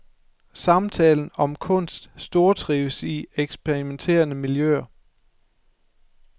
Samtalen om kunst stortrives i eksperimenterende miljøer.